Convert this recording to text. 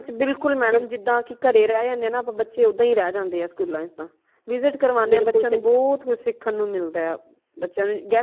ਬਿਲਕੁਲ madam ਜਿਦਾ ਕਿ ਘਰੇ ਰਹ ਜਾਂਦੇ ਹਾਂ ਨਾ ਆਪਾ ਬੱਚੇ ਓਦਾ ਹੀ ਰਹ ਜਾਂਦੇ ਹਾ school ਲਾਂ ਚ ਤਾ visit ਕਰਵਾਣੇ ਹੈਬੱਚਿਆਂ ਨੂ ਬਹੁਤ ਕੁਝ ਸਿਖਣ ਨੂ ਮਿਲਦਾ ਹੈ ਬੱਚਿਆਂ ਨੂ